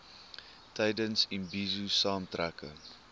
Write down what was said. tydens imbizo saamtrekke